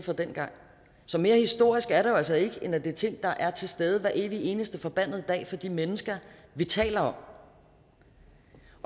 dengang så mere historisk er det jo altså ikke end at det er ting der er til stede hver evig eneste forbandede dag for de mennesker vi taler om